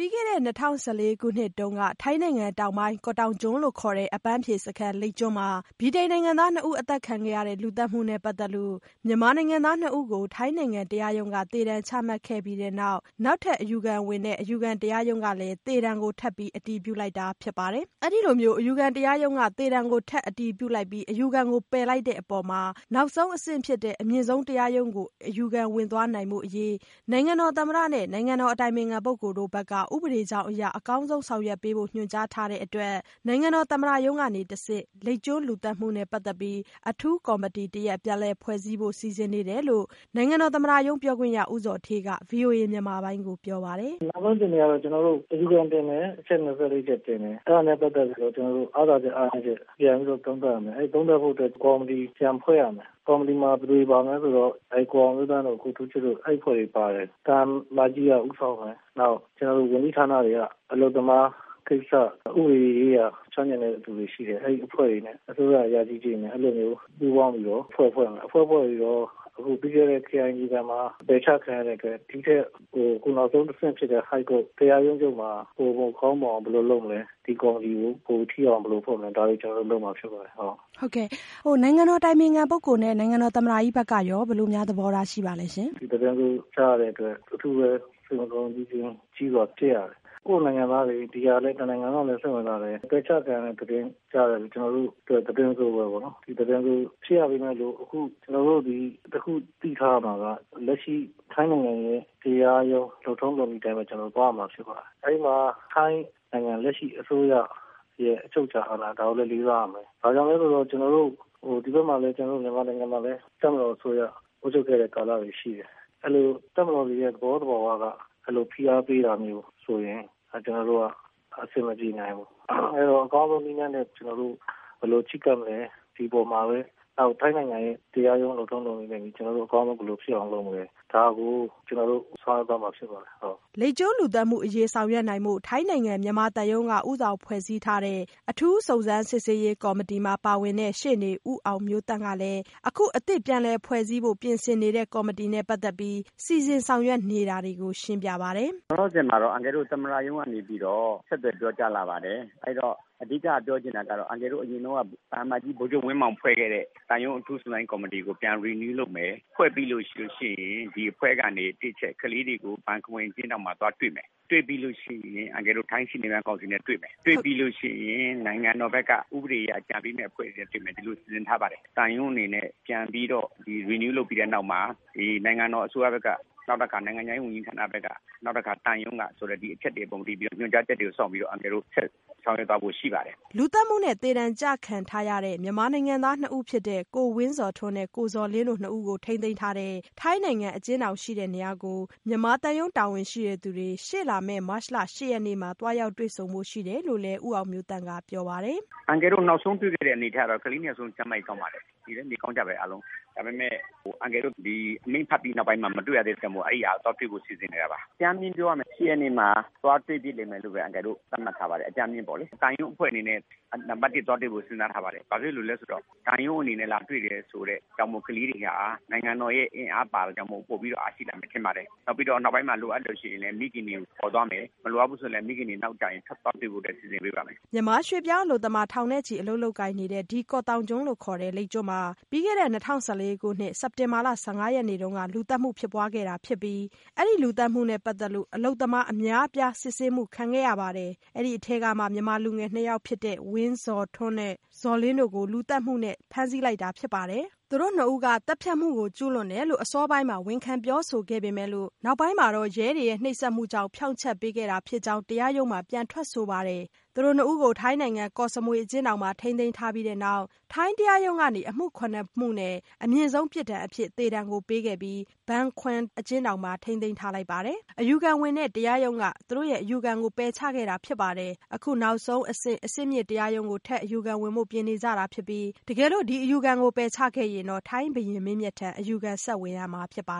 ပြီးခဲ့တဲ့နှစ်၂၀၁၄ခုနှစ်တုန်းက ထိုင်းနိုင်ငံတောင်ပိုင်း ကော့တောင်ကျွန်းလို့ခေါ်တဲ့ အပမ်းဖြေစခန်း လိပ်ကျွန်းမှာဗြိတိန်နိုင်ငံသားနှစ်ဦး အသတ်ခံရတဲ့ လူသတ်မှုနဲ့ပတ်သက်လို့ မြန်မာနိုင်ငံသားနှစ်ဦးကို ထိုင်းနိုင်ငံ တရားရုံးက သေဒဏ်ချမှတ်ခဲ့ပြီးတဲ့နောက် နောက်ထပ်အယူခံဝင်တဲ့ အယူခံတရားရုံး ကလည်း သေဒဏ်ကို ထပ်ပြီးအတည်ပြုလိုက်တာဖြစ်ပါတယ်။ အဲ့ဒီ့လိုမျိုး အယူခံတရားရုံးကနေ သေဒဏ်ထပ်အတည်ပြုလိုက်ပြီး အယူခံကို ပယ်လိုက်တဲ့အပေါ်မှာ နောက်ဆုံးအဆင့်ဖြစ်တဲ့ အမြင့်ဆုံးတရားရုံးကို အယူခံဝင်သွားနိုင်ဖို့အရေး နိုင်ငံတော်သမ္မတနဲ့ နိုင်ငံတော်အတိုင်ပင်ခံပုဂ္ဂိုလ် တို့ဘက်က ဥပဒေကြောင်းအရ အကောင်းဆုံး ဆောင်ရွက်ပေးနိုင်ဖို့ ညွှန်ကြားတဲ့အတွက် နိုင်ငံတော်သမ္မတရုံးကတဆင့် လိပ်ကျွန်းလူသတ်မှုနဲ့ပတ်သက်ပြီး အထူးကော်မတီ တရပ်ပြန်လည်ဖွဲ့စည်းဖို့ စီစဉ်နေတယ်လို့ နိုင်ငံတော်သမ္မတရုံးပြောခွင့်ရ ဦးဇော်ဌေးက ဗွီအိုအေမြန်မာပိုင်းကိုပြောပါတယ်။ “နောက်ဆုံးအခြေအနေက ကျနော်တို့ အယူခံတင်မယ်၊ အချက် ၂၄ ချက်တင်မယ် ဒါနဲ့ပတ်သက်ပြီးတော့ အားသာချက် အလားနည်းချက်ကို ပြန်ပြီးတော့ သုံးသပ်ရမယ်။ အဲဒါသုံးသပ်ဖို့အတွက် ကော်မတီပြန်ဖွဲ့ရမယ်။ ကော်မတီမှာ ဘယ်သူတွေပါသလဲဆိုတော့ ဦးအောင်မျိုးသန့်တို့ ကိုထူးချစ်တို့အဖွဲ့တွေပါမယ်။ အဲဒါကို သံအမတ်ကြီးက ဦးဆောင်မယ်။ ကျနော်တို့ ဝန်ကြီးဌာနတွေက အလုပ်သမားကိစ္စ၊ ဥပဒေရေးရာ ကျွမ်းကျင်တဲ့လူတွေရှိတယ်။ အဲဒီအဖွဲ့တွေနဲ့ အစိုးရ အရာရှိတွေနဲ့ ပူးပေါင်းပြီးတော့ အဖွဲ့ဖွဲ့မယ်။ အဖွဲ့ဖွဲ့ပြီးတော့ ပြီးခဲ့တဲ့ ခရိုင်အဆင့်မှာ ပယ်ချခံရတဲ့အတွက် အခုနောက်ဆုံးအဆင့်ဖြစ်တဲ့ High Court တရားရုံးချုပ်မှာ ဘယ်လိုကောင်းမွန်အောင်လုပ်မလဲ ဒီကော်မတီကို ပိုထိရောက်အောင် ဘယ်လိုဖွဲ့မလဲ ဒါတွေ ကျနော်တို့ လုပ်မှာ ဖြစ်ပါတယ်။ မေး။ ။ နိုင်ငံတော်သမ္မတကြီးနဲ့ နိုင်ငံတော်အတိုင်ပင်ခံပုဂ္ဂိုလ် ဘက်ကရော ဘယ်လို သဘောထားရှိပါသလဲ။ ဖြေ။ ။ ဒီသတင်းဆိုးကြားတဲ့အတွက် အထူးပဲ စိတ်မကောင်းကြီးစွာဖြစ်ရတယ်။ ကိုယ်နိုင်ငံသားတွေ၊ တနိုင်ငံ လုံးကလည်း စိတ်ဝင်စားတယ်။ ပယ်ချခံရတဲ့သတင်း က ကျနော်တို့အတွက် သတင်းဆိုးပေါ့နော်။ ဒီသတင်းဆိုးဖြစ်ပေမယ့် အခုကျနော်တို့ တခုသိထားရမှာက ထိုင်းနိုင်ငံရဲ့တရားရုံး လုပ်ထုံးလုပ်နည်းအတိုင်း ကျနော်တို့ သွားရမှာ ဖြစ်ပါတယ်။ အဲဒီမှာ ထိုင်းနိုင်ငံ လက်ရှိအစိုးရရဲ့ အချုပ်အချာအာဏာကိုလည်း လေးစားရမှာဖြစ်ပါတယ်။ ဘာကြောင့်လည်းဆိုတော့ ဒီဘက် ကျနော်တို့ မြန်မာနိုင်ငံမှာလည်း တပ်မတော်အစိုးရ အုပ်ချုပ်ခဲ့တဲ့ ကာလတွေရှိတယ် ။ အဲဒီလို တပ်မတော်တွေရဲ့သဘောသဘာဝက ဖိအားပေးတာမျိုးဆိုရင် အဆင်မပြေနိုင်ဘူး။ အဲဒီတော့ အကောင်းဆုံးနည်းနဲ့ ဘယ်လို ချဉ်းကပ်မလဲ ၊ ဒီအပေါ်မှာပဲ ထိုင်းနိုင်ငံရဲ့တရားရုံး လုပ်ထုံးလုပ်နည်းအတိုင်း ကျနော်တို့ အကောင်းဆုံး ဘယ်လိုဖြစ်အောင်လုပ်မလဲ ဒါကို ကျနော်တို့ ဆောင်ရွက်သွားမှာ ဖြစ်ပါတယ်။” လိပ်ကျွန်းလူသတ်မှုအရေး ဆောင်ရွက်နိုင်ဖို့ ထိုင်းနိုင်ငံဆိုင်ရာမြန်မာသံရုံးက ဦးဆောင်ဖွဲ့စည်းထားတဲ့ အထူးစုံစမ်းစစ်ဆေးရေးကော်မတီမှာ ပါဝင်တဲ့ ရှေ့နေ ဦးအောင်မျိုးသန့်ကလည်း အခုအသစ်ပြန်လည်ဖွဲ့စည်းဖို့ပြင်ဆင်နေတဲ့ကော်မတီနဲ့ပတ်သက်ပြီး စီစဉ်ဆောင်ရွက်နေတာကို ရှင်းပြပါတယ်။ “လောလောဆယ်မှာတော့ အန်ကယ်တို့ သမ္မတရုံးကနေပြီးတော့ ဆက်သွယ်ပြောကြားလာပါတယ်။ အဓိက အန်ကယ်တို့ ပြောချင်တာကတော့ အရင်တုန်းက သံအမတ်ကြီး ဗိုလ်ချုပ်ဝင်းမောင် ဖွဲ့ခဲ့တဲ့ သံရုံးအထူးစုံစမ်းရေးကော်မတီကို ပြန် renew လုပ်မယ်။ ဖွဲ့ပြီးရင် ၁ အချက် ကလေးတွေကို ဘန်ခွမ်အကျဉ်းထောင်မှာသွားတွေ့မယ်။ တွေ့ပြီးရင် ထိုင်းရှေ့နေများကောင်စီနဲ့သွားတွေ့မယ်။ တွေ့ပြီးရင် နိုင်ငံတော်ဘက်က ဥပဒေအကြံပေးတွေနဲ့တွေ့မယ် အဲလိုစီစဉ်ထားပါတယ်။ သံရုံးအနေနဲ့ ပြန်ပြီးတော့ Renew လုပ်ပြီးတဲ့နောက်မှာ နိုင်ငံတော်အစိုးရဘက်က နောက်တခါ နိုင်ငံခြားရေးဝန်ကြီးဘက်က ၊ နောက်တခါ သံရုံးက ဒီအချက်တွေ ညွန်ကြားချက်တွေအတိုင်း အန်ကယ်တို့ ဆောင်ရွက်သွားဖို့ ရှိပါတယ်။” လူသတ်မှုနဲ့ သေဒဏ်ကျခံထားရတဲ့ မြန်မာနိုင်ငံသားနှစ်ဦးဖြစ်တဲ့ ကိုဝင်းဇော်ထွန်းနဲ့ ကိုဇော်လင်းတို့နှစ်ဦးကို ထိန်းသိမ်းထားတဲ့ ထိုင်းနိုင်ငံအကျဉ်းထောင်ရှိရာကို မြန်မာသံရုံး တာဝန်ရှိသူတွေ ရှေ့လာမယ့် မတ်လ ၈ ရက်နေ့မှာ သွားရောက်တွေ့ဆုံဖို့ရှိတယ်လို့လည်း ဦးအောင်မျိုးသန့်ကပြောပါတယ်။ “အန်ကယ်တို့ နောက်ဆုံးတွေ့ခဲ့တဲ့အနေအထားကတော့ ကလေး ၂ ယောက်စလုံး ကျန်းမာရေးကောင်းပါတယ်။ နေလဲကောင်းကြတယ်အားလုံး။ ဒါပေမယ့် အန်ကယ်တို့ ဒီအမိန့်ချပြီးနောက်ပိုင်းမှာ မတွေ့ရသေးတာကြောင့်မို့ အန်ကယ်တို့ သွားတွေ့ဖို့ စီစဉ်နေတာပါ။ အကြမ်း ပြောရရင်တော့ ၈ ရက်နေ့မှာ သွားတွေ့ဖြစ်မယ်လို့ အန်ကယ်တို့ သတ်မှတ်ထားပါတယ်။ သံရုံးအဖွဲ့အနေနဲ့ နံပတ်၁ သွားတွေ့ဖို့ စဉ်းစားထားပါတယ်။ ဘာဖြစ်လို့လဲဆိုတော့ သံရုံးအနေနဲ့ လာတွေ့တယ်ဆိုတော့ နိုင်ငံတော်ရဲ့ အင်အားပါတာကြောင့်မို့လို့ ကလေးတွေ ပိုပြီးတော့ အားရှိလာမယ်ထင်ပါတယ်။ နောက်ပြီးတော့ လိုအပ်ရင် မိခင်တွေကိုခေါ်သွားမယ်၊ မလိုအပ်ရင်လဲ မိခင်တွေ နောက်ကျရင် ထွက်သွားပေးဖို့ စီစဉ်ပေးပါမယ်။” မြန်မာရွှေ့ပြောင်းအလုပ်သမား ထောင်ချီ အလုပ်လုပ်ကိုင်နေတဲ့ ဒီ ကော့သောင်ကျွန်းလို့ခေါ်တဲ့ လိပ်ကျွန်းမှာ ၂၀၁၄ ခုနှစ် စက်တင်ဘာ ၁၅ ရက်နေ့က လူသတ်မှုဖြစ်ပွားခဲ့တာဖြစ်ပြီးအလုပ်သမားအများအပြား စစ်ဆေးမှုခံခဲ့ရပါတယ်။ အဲ့ဒီ့အထဲကမှ မြန်မာလူငယ် ၂ ယောက်ဖြစ်တဲ့ ကိုဝင်းဇော်ထွန်းနဲ့ ကိုဇော်လင်းတို့ကို လူသတ်မှုနဲ့ ဖမ်းဆီးလိုက်တာဖြစ်ပါတယ်။ သူတို့နှစ်ဦးက သတ်ဖြတ်မှုကျုးလွန်ကြောင်း အစောပိုင်းမှာ ဝန်ခံပြောဆိုခဲ့ပေမဲ့ နောက်ပိုင်းမှာတော့ ရဲတွေရဲ့ နှိပ်စက်မှုကြောင့် ဖြောင့်ချက်ပေးခဲ့တာ ဖြစ်တဲ့အကြောင်း တရားရုံးမှာ ပြန်ထွက်ဆိုထားပါတယ်။ သူတို့နှစ်ဦးကို ထိုင်းနိုင်ငံ ကော့စမွေ အကျဉ်းထောင်မှာ ထိန်းသိမ်းထားပြီးတဲ့နောက်မှာတော့ ထိုင်းတရားရုံးကနေ အမှု ၇ မှုနဲ့ အမြင့်ဆုံးပြစ်ဒဏ်အဖြစ် သေဒဏ်ပေးခဲ့ပြီး အခုလက်ရှိမှာတော့ ဘန်ခွမ်အကျဉ်းထောင်မှာ ဘန်ခွမ်အကျဉ်းထောင်မှာ ထိန်းသိမ်းထားပြီး သေဒဏ်အတွက် အယူခံဝင်တဲ့ တရားရုံးက အယူခံကို ပယ်ချခဲ့တာဖြစ်ပါတယ်။ အခုနောက်ဆုံးအဆင့် အဆင့်မြင့်တရားရုံးကို ထပ်အယူခံဝင်ဖို့ ပြင်နေကြတာဖြစ်ပြီး တကယ်လို့ ဒီအယူခံကို ပယ်ချခဲ့ရင်တော့ ထိုင်းဘုရင်မင်းမြတ်ထံ အယူခံဝင်ရမှာဖြစ်ပါ